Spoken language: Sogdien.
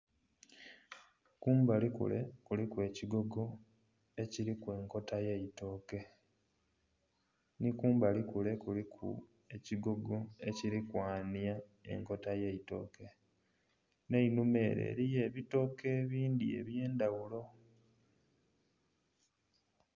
Kumbali kule kuliku ekigogo ekiliku enkota y'eitooke. Nhi kumbali kule kuliku ekigogo ekili kwanhya enkota y'eitooke, nh'einhuma ere eliyo ebitooke ebindhi eby'endhaghulo.